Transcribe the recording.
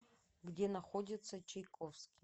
где находится чайковский